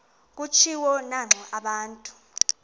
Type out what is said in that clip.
kutshiwo naxa abantu